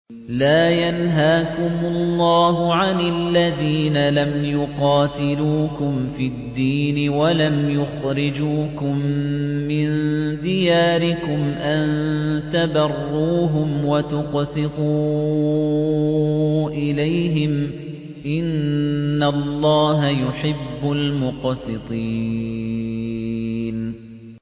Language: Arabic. لَّا يَنْهَاكُمُ اللَّهُ عَنِ الَّذِينَ لَمْ يُقَاتِلُوكُمْ فِي الدِّينِ وَلَمْ يُخْرِجُوكُم مِّن دِيَارِكُمْ أَن تَبَرُّوهُمْ وَتُقْسِطُوا إِلَيْهِمْ ۚ إِنَّ اللَّهَ يُحِبُّ الْمُقْسِطِينَ